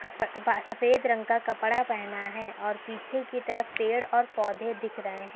सफेद रंग का कपड़ा पहना है और पीछे की तरफ पेड़ और पौधे दिख रहे हैं।